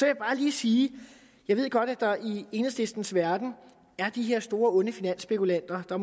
jeg bare lige sige at jeg godt ved at der i enhedslistens verden er de her store onde finansspekulanter og